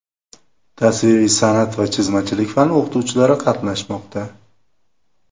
tasviriy san’at va chizmachilik fani o‘qituvchilari qatnashmoqda.